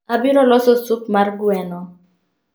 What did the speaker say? Abiro loso sup mar gweno